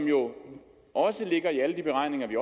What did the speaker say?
jo også ligger i alle de beregninger vi